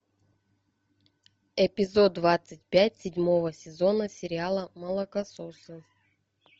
эпизод двадцать пять седьмого сезона сериала молокососы